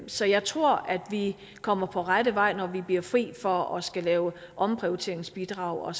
så jeg tror at vi kommer på rette vej når vi bliver fri for at skulle lave omprioriteringsbidrag og